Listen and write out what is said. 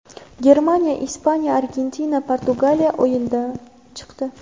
Germaniya, Ispaniya, Argentina, Portugaliya o‘yindan chiqdi.